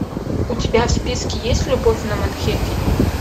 у тебя в списке есть любовь на манхэттене